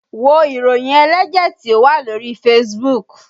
Wo ìròyìn ẹlẹ́jẹ̀ tí ó wà lórí Facebook!